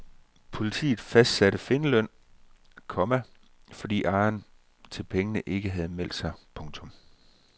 Politiet fastsatte findeløn, komma fordi ejeren til pengene ikke har meldt sig. punktum